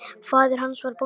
Faðir hans var bóndi.